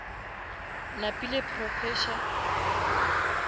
napile professor